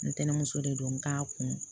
Ntɛnɛnmuso de don n k'a kun